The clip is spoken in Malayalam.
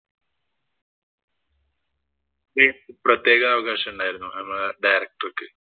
ഈ പ്രത്യേക അവകാശം ഉണ്ടായിരുന്നു നമ്മടെ director ക്ക്.